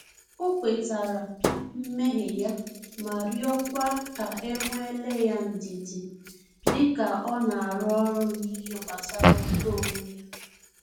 Ọ kwetara mmehie ya ma rịọkwa ka e nwele ya ndidi dika ọ na-arụ ọrụ n’ihe gbasara uto onwe ya